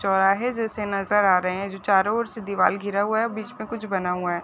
चौराहे जैसे नज़र आ रहे हैं जो चारो ओर से दिवार घिरा हुआ है बीच में कुछ बना हुआ है।